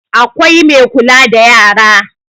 Akwai Mai kula da yara